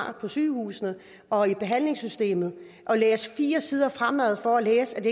er på sygehusene og i behandlingssystemet læser fire sider fremad for at læse at